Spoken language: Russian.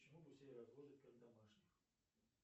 почему гусей разводят как домашних